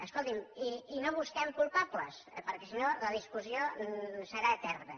escolti’m i no busquem culpables perquè sinó la discussió serà eterna